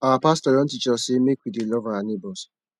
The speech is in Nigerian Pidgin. our pastor don teach us sey make we dey love our nebors